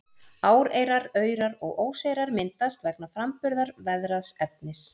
Áreyrar, aurar og óseyrar myndast vegna framburðar veðraðs efnis.